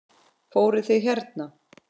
Fóruð þið hérna?